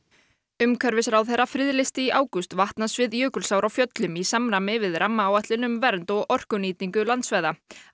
umhverfisráðherra friðlýsti í ágúst vatnasvið Jökulsár á Fjöllum í samræmi við rammaáætlun um vernd og orkunýtingu landsvæða að